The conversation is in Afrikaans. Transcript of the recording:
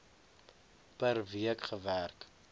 per week gewerk